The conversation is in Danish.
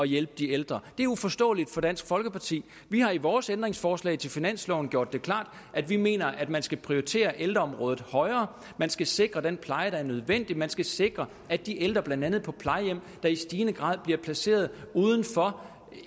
hjælpe de ældre det er uforståeligt for dansk folkeparti vi har i vores ændringsforslag til finansloven gjort det klart at vi mener at man skal prioritere ældreområdet højere man skal sikre den pleje der er nødvendig man skal sikre at de ældre blandt andet på plejehjem der i stigende grad bliver placeret udenfor